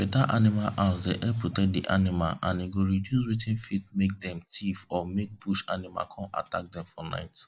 better animal house dey help protect the animals and go reduce watin fit make dem thief or make bush animal come attack dem for night